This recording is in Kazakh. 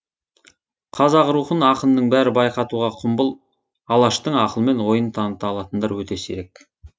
қазақ рухын ақынның бәрі байқатуға құмбыл алаштың ақылман ойын таныта алатындар өте сирек